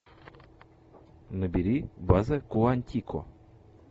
набери база куантико